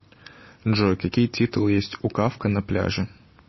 джой какие титулы есть у кафка на пляже